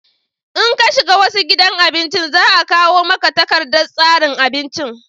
in ka shiga wasu gidan abinci za a kawo maka takardar tsarin abinci